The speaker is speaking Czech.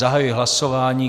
Zahajuji hlasování.